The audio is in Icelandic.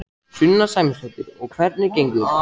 Sunna Sæmundsdóttir: Og hvernig gengur?